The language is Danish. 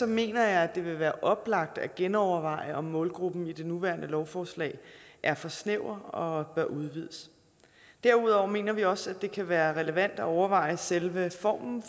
mener jeg at det vil være oplagt at genoverveje om målgruppen i det nuværende lovforslag er for snæver og bør udvides derudover mener vi også at det kan være relevant at overveje selve formen